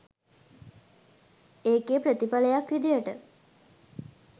ඒකේ ප්‍රතිඵලයක් විදියට